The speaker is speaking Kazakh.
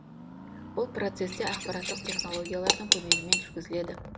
бұл процесс те ақпараттық технологиялардың көмегімен жүргізіледі